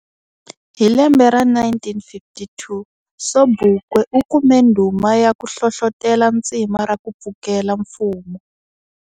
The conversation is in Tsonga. Hi lembe ra 1952 Sobukwe ukume ndhuma yaku hlohlotela tsima raku pfukela mfumo.